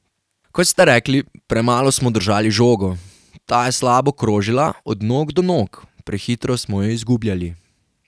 Kot ste rekli, premalo smo držali žogo, ta je slabo krožila od nog do nog, prehitro smo jo izgubljali.